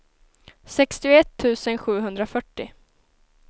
sextioett tusen sjuhundrafyrtio